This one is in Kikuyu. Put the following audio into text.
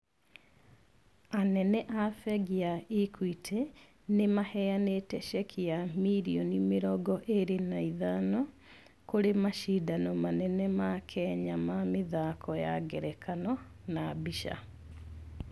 Anene a bengi ya Equity, nĩ maheanĩte cheki ya mirioni mĩrongo ĩrĩ na ithano, kũrĩ macindano manene ma Kenya ma mĩthako ya ngerekano, na mbica.